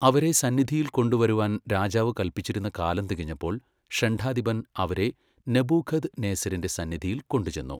അവരെ സന്നിധിയിൽ കൊണ്ടുവരുവാൻ രാജാവു കല്പിച്ചിരുന്ന കാലം തികഞ്ഞപ്പോൾ ഷണ്ഡാധിപൻ അവരെ നെബൂഖദ് നേസരിന്റെ സന്നിധിയിൽ കൊണ്ടുചെന്നു.